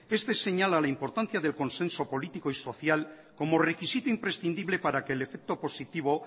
este señala la importancia del consenso político y social como requisito imprescindible para que el efecto positivo